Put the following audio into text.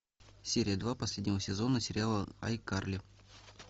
серия два последнего сезона сериал айкарли